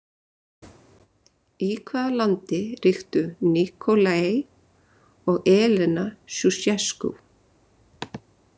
Í hvað landi ríktu Nikolae og Elena Sjúsjeskú?